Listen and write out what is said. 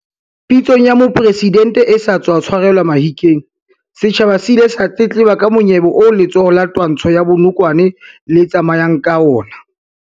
Pitsong ya Mopresidente e sa tswa tshwarelwa Mahikeng, setjhaba se ile sa tletleba ka monyebe oo letsholo la twantsho ya bonokwane le tsamayang ka ona.